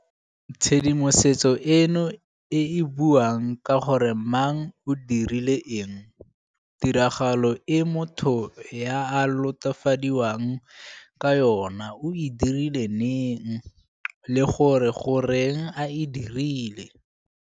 Tshedimosetso eno ke e e buang ka gore mang o dirile eng, tiragalo e motho yo a lato fadiwang ka yona o e dirile neng le gore goreng a e dirile.